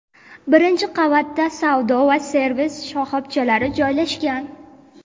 Birinchi qavatda savdo va servis shoxobchalari joylashgan.